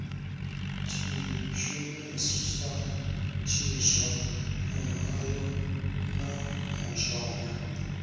tshishumisa tshiswa muhayo na mushonga